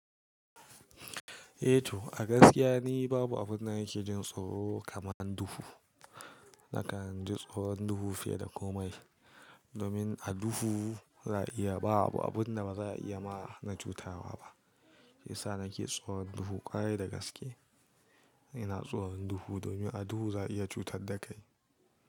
Eh to a gaskiya ne babu abun da yake jin tsoro kamar duhu. Nakan ji tsoron duhu fiye da komai. Domin a duhu za a iya, babu abun da ba za a iya ma na cutawa ba. Isa nake tsoron duhu kwarai da gaske. Ina tsoron duhu domin a duhu za a iya cutar da kai.